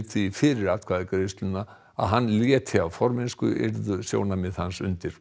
fyrir atkvæðagreiðsluna að hann léti af formennsku yrðu sjónarmið hans undir